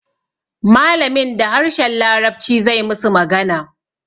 Malamin da harshen larabci zai musu magana